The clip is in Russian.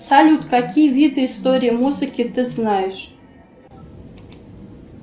салют какие виды истории музыки ты знаешь